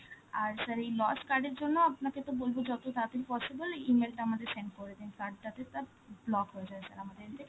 আর sir এই lost card এর জন্য ও আপনাকে তো বলব যত তাড়াতাড়ি possible E-mail টা আমাদের send করে দিন, card তাতে তার block হয়ে যায় sir আমাদের end থেকে,